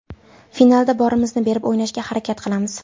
Finalda borimizni berib o‘ynashga harakat qilamiz.